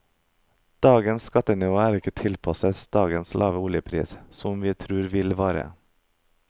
Dagens skattenivå er ikke tilpasset dagens lave oljepris, som vi tror vi vare.